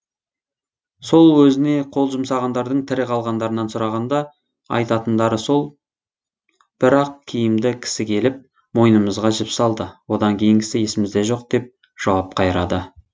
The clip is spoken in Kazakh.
сол өзіне қол жұмсағандардың тірі қалғандарынан сұрағанда айтатындары сол бір ақ киімді кісі келіп мойынымызға жіп салды одан кейінгісі есімізде жоқ деп жауап қайырады